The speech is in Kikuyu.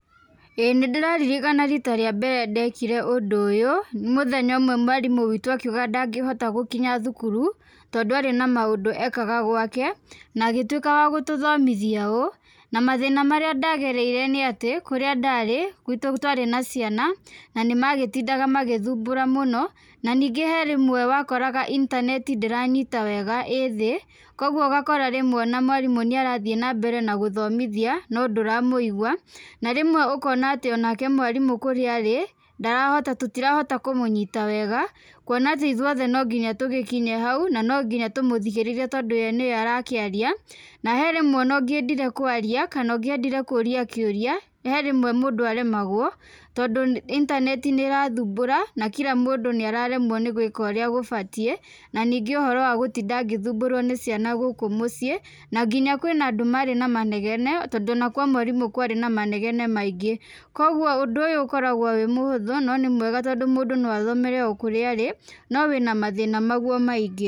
ĩ nĩndĩraririkana rita rĩa mbere ndekire ũndũ ũyũ, nĩ mũthenya ũmwe mwarimũ witũ akiuga ndangĩhota gũkinya thukuru tondũ arĩ na maũndũ ekaga gwake, na agĩtuĩka wagũtũthomithia ũũ. Na mathĩna marĩa ndagereire nĩ atĩ kũrĩa ndarĩ gwĩtũ twarĩ na ciana na nĩmagĩtindaga magĩthumbũra mũno na ningĩ he rĩmwe wakoraga intaneti ndĩranyita wega, ĩ thĩ kogwo ũgakora mwarimũ nĩarathiĩ na mbere na gũthomithia no ndũramũigua na rĩmwe ũkona atĩ nake mwarimũ kũrĩa arĩ ndarahota tũtirahota kũmũnyita wega kuona atĩ ithuothe no nginya tũgĩkinye hau no no nginya tũmũthigĩrĩre tondũ nĩwe ũrakĩaria. Na he rĩmwe o na ũngĩendire kũũria kĩuria he rĩmwe mũndũ aremagwo tondũ intaneti nĩ ĩrathumbura na kila mũndũ nĩ araremwo gwĩka ũrĩa gũbatiĩ. Ningĩ ũhoro wa gũtinda ngĩthumbũrwo nĩ ciana gũkũ mũciĩ na nginya kwĩna andũ marĩ na manegene tondũ o na kwa mwarimũ kwarĩ na manegene maingĩ, kogwo ũndũ ũyũ ũkoragwo wĩ mũhũthũ no nĩ mwega tondũ mũndũ no athome o kũrĩa arĩ no wĩna mathĩna maguo maingĩ.